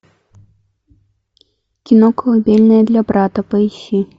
кино колыбельная для брата поищи